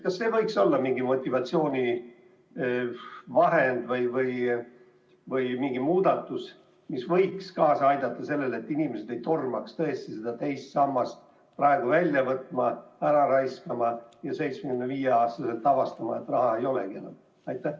Kas see võiks olla motivatsioonivahend või selline muudatus, mis võiks kaasa aidata sellele, et inimesed tõesti ei tormaks II sambast raha praegu välja võtma, seda ära raiskama ja 75-aastaselt avastama, et raha enam ei olegi?